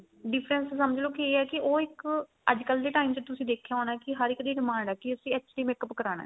difference ਸਮਝ ਲੋ ਕੀ ਇਹ ਹੈ ਕੀ ਇਹ ਇੱਕ ਅੱਜਕਲ ਦੇ time ਚ ਤੁਸੀਂ ਦੇਖਿਆ ਹੋਣਾ ਕੀ ਹਰ ਇੱਕ ਦੀ demand ਏ ਕੀ ਅਸੀਂ HD make up ਕਰਾਣਾ